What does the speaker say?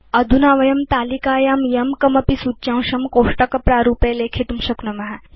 अधुना वयं तालिकायां यं कमपि सूच्यांशं कोष्टकप्रारूपे लेखितुं शक्नुम